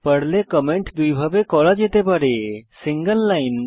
পর্লে কমেন্ট দুইভাবে করা যেতে পারে সিঙ্গল লাইন